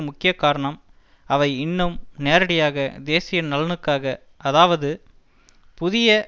முக்கிய காரணம் அவை இன்னும் நேரடியாக தேசிய நலனுக்காக அதாவது புதிய